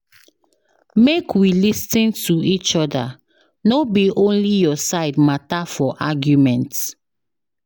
Make we lis ten to each other, no be only your side matter for argument.